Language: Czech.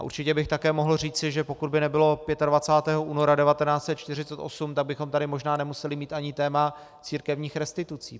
A určitě bych mohl také říci, že pokud by nebylo 25. února 1948, tak bychom tady možná nemuseli mít ani téma církevních restitucí.